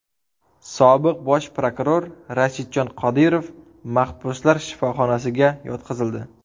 Sobiq bosh prokuror Rashidjon Qodirov mahbuslar shifoxonasiga yotqizildi.